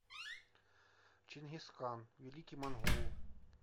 чингисхан великий монгол